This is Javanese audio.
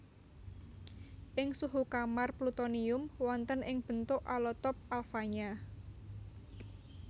Ing suhu kamar plutonium wonten ing bentuk alotop alfanya